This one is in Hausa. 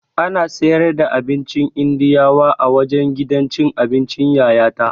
Ana siyar da abincin Indiyawa a wajen gidan cin abincin Yayata